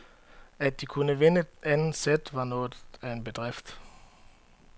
At de kunne vinde anden sæt var noget af en bedrift.